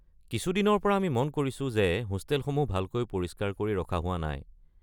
কিছু দিনৰ পৰা আমি মন কৰিছো যে হোষ্টেলসমূহ ভালকৈ পৰিস্কাৰ কৰি ৰখা হোৱা নাই।